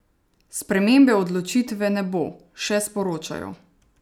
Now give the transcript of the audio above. Spremembe odločitve ne bo, še sporočajo.